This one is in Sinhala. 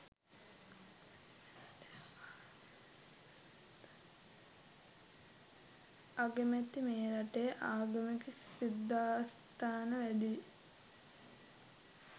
අගමැති මේ රටේ ආගමික සිද්ධස්ථාන වැඩියි